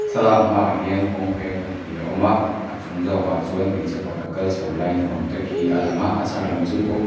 thlalak hma ah hian kawng peng pahnih a awm a a chung zawk ah chuan hmeichhe pakhat kal chho lai ni awm tak hi a lang a a chhak lam chu ko--